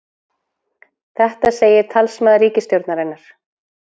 Þetta segir talsmaður ríkisstjórnarinnar